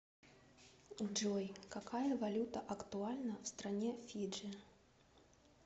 джой какая валюта актуальна в стране фиджи